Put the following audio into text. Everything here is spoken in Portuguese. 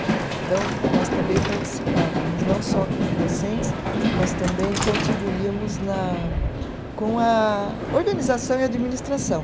Então, nós também participávamos, não só como docentes, mas também contribuíamos na, com a organização e administração.